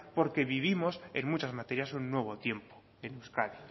porque vivimos en muchas materias un nuevo tiempo en euskadi